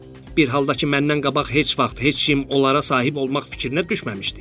Bir haldakı məndən qabaq heç vaxt heç kim onlara sahib olmaq fikrinə düşməmişdi.